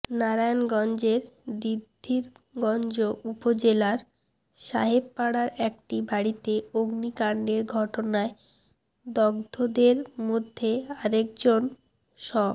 নারায়ণগঞ্জের দিদ্ধিরগঞ্জ উপজেলার সাহেবপাড়ার একটি বাড়িতে অগ্নিকাণ্ডের ঘটনায় দগ্ধদের মধ্যে আরেকজন স